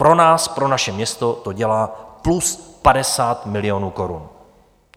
Pro nás, pro naše město to dělá plus 50 milionů korun.